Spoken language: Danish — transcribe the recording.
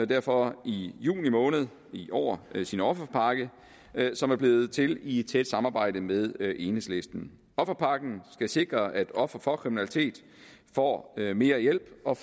derfor i juni måned i år sin offerpakke som er blevet til i et tæt samarbejde med enhedslisten offerpakken skal sikre at ofre for kriminalitet får mere hjælp og